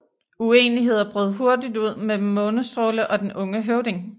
Uenigheder brød hurtigt ud mellem Månestråle og den unge høvding